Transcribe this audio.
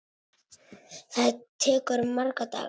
Það tekur marga daga!